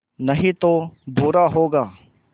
नहीं तो बुरा होगा